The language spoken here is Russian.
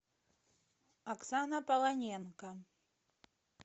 оксана полоненко